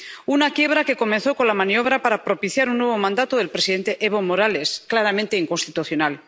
una quiebra que comenzó con la maniobra para propiciar un nuevo mandato del presidente Evo Morales, claramente inconstitucional.